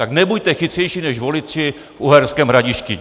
Tak nebuďte chytřejší než voliči v Uherském Hradišti!